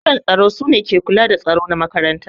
Ɓangaren tsaro sune ke kula da tsaro na makaranta.